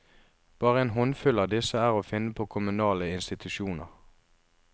Bare en håndfull av disse er å finne på kommunale institusjoner.